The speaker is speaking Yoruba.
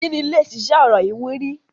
Ìkíni lẹ ṣiṣẹ́ ọ̀rọ̀ ìwúrí